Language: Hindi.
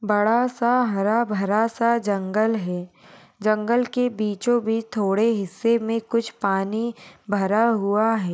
बड़ा सा हरा-भरा सा जंगल है जंगल के बीचों बीच थोड़े हिस्से मे कुछ पानी भरा हुआ है।